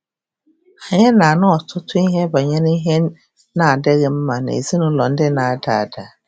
Anyị na-anụ ọtụtụ ihe banyere ihe na-adịghị mma n'ezinụlọ ndị ndị na-ada ada.